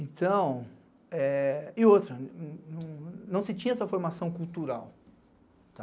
Então... E outra, não se tinha essa formação cultural, tá?